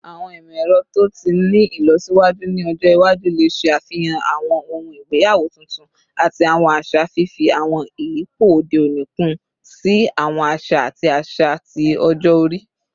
Awọn imọ-ẹrọ to ti ni ilọsiwaju ni ọjọ iwaju le ṣafihan awọn ohun igbeyawo tuntun ati awọn aṣa, fifi awọn iyipo ode oni kun si awọn aṣa ati aṣa ti ọjọ-ori